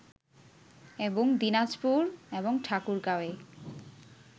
এবং দিনাজপুর এবং ঠাকুরগাঁওয়ে